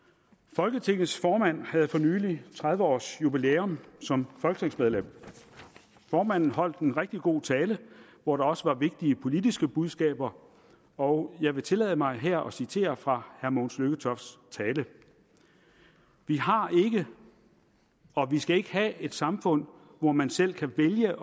folketingets formand havde for nylig tredive års jubilæum som folketingsmedlem formanden holdt en rigtig god tale hvor der også var vigtige politiske budskaber og jeg vil tillade mig her at citere fra herre mogens lykketofts tale vi har ikke og vi skal ikke have et samfund hvor man selv kan vælge